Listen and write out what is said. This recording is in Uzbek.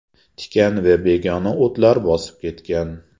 Tikan va begona o‘tlar bosib ketgan.